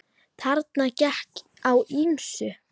Þarna gekk á ýmsu.